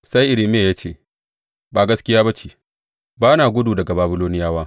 Sai Irmiya ya ce, Ba gaskiya ba ce, ba na gudu daga Babiloniyawa.